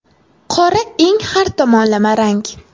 Qora eng har tomonlama rang.